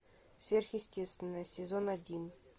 сверхъестественное сезон один